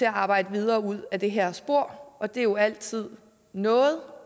at arbejde videre ud ad det her spor og det er jo altid noget